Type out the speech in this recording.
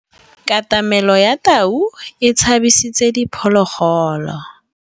Katamêlô ya tau e tshabisitse diphôlôgôlô.